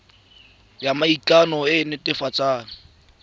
ya maikano e e netefatsang